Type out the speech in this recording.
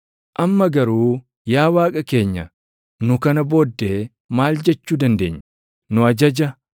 “Amma garuu yaa Waaqa keenya nu kana booddee maal jechuu dandeenya? Nu ajaja